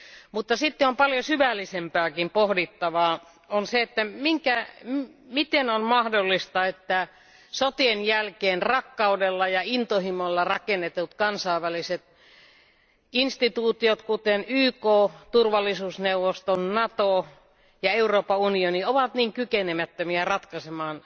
Mutta sitten on paljon syvällisempääkin pohdittavaa miten on mahdollista, että sotien jälkeen rakkaudella ja intohimolla rakennetut kansainväliset instituutiot kuten YK, turvallisuusneuvosto, Nato ja Euroopan unioni ovat niin kykenemättömiä ratkaisemaan